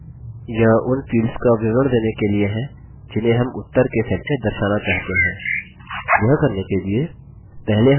यह उन fields का विवरण देने के लिए जिन्हें हम उत्तर के set में दर्शाना चाहते हैं